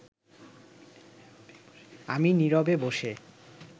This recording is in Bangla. আমি নীরবে বসে